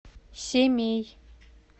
семей